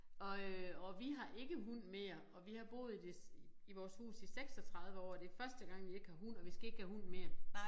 Og øh og vi har ikke hund mere og vi har boet i det i vores hus i 36 år og det første gang vi ikke har hund og vi skal ikke have hund mere